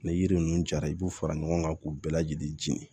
Ni yiri ninnu jara i b'u fara ɲɔgɔn kan k'u bɛɛ lajɛlen jeni